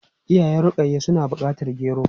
Iyayen Rukayya suna bukatar gero.